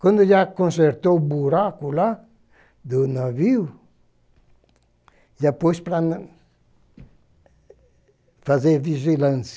Quando já consertou o buraco lá do navio, já pôs para na fazer vigilância.